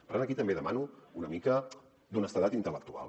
per tant aquí també demano una mica d’honestedat intel·lectual